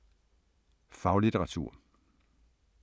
Faglitteratur